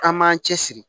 An m'an cɛsiri